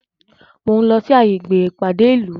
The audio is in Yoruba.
Mo ń lọ sí gbàgede ìpàdé ìlú